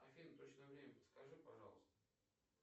афина точное время подскажи пожалуйста